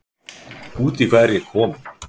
Út í hvað er ég kominn?